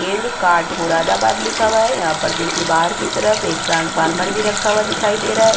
केंद्र काँठ मुरादाबाद लिखा हुआ है। यहाँ पर देखिए बाहर की तरफ एक ट्रांसफार्मर भी रखा हुआ दिखाई रहा है।